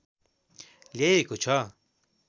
ल्याइएको छ